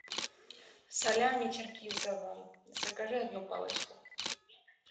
салями черкизово закажи одну палочку